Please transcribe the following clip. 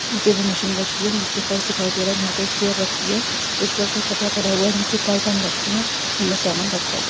नीचे ब मशीन रखी है। नीचे फर्श दिखाई दे रहा है जहां पे चेयर रखी है जिसपे कोई कपड़ा पड़ा हुआ है। नीचे कार्टन रखी है सामान रखा हुआ है।